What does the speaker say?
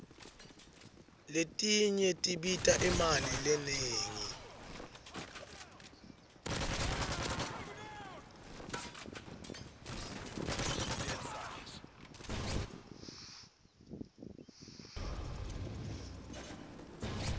letinye tibita imali lenengi